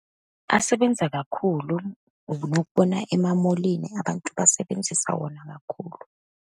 Asebenza kakhulu, unokubona ema-mall-ini, abantu basebenzisa wona kakhulu.